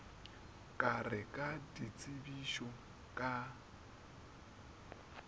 ka re ka tsebišo ka